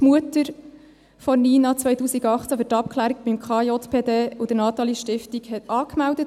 Die Mutter hat Nina 2018 für die Abklärung beim Kinder- und Jugendpsychiatrischen Dienst (KJPD) und der Nathalie-Stiftung angemeldet.